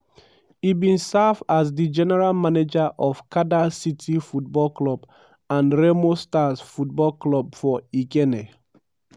e bin serve as di general manager of kada city football club and remo stars football club for ikenne.